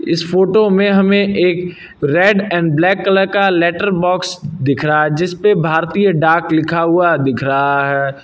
इस फोटो में हमें एक रेड एंड ब्लैक कलर का लेटर बॉक्स दिख रहा है जिसपे भारतीय डाक लिखा हुआ दिख रहा है।